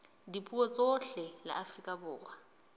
dipuo tsohle la afrika borwa